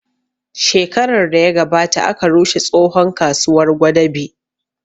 Shekarar da ya gabata aka rushe tsohon kasuwar gwadabe